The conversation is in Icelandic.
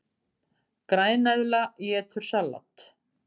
Græneðla étur salat!